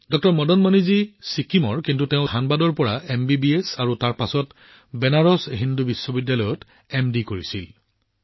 ড মদন মণি নিজেই ছিকিমৰ পৰা আহিছে কিন্তু ধনবাদৰ পৰা তেওঁৰ এমবিবিএছ কৰিছিল আৰু তাৰ পিছত বেনাৰস হিন্দু বিশ্ববিদ্যালয়ৰ পৰা এমডি কৰিছিল